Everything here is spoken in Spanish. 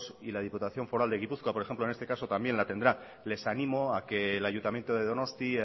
y las diputación foral de gipuzkoa por ejemplo en este caso también la tendrá les animo a que el ayuntamiento de donostia